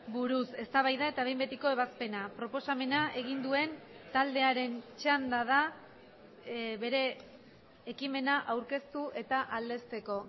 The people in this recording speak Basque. buruz eztabaida eta behin betiko ebazpena proposamena egin duen taldearen txanda da bere ekimena aurkeztu eta aldezteko